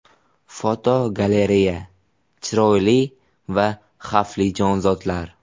Fotogalereya: Chiroyli va xavfli jonzotlar.